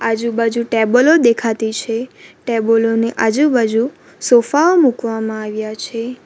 આજુબાજુ ટેબલો દેખાતી છે ટેબલો ની આજુબાજુ સોફા ઓ મૂકવામાં આવ્યા છે.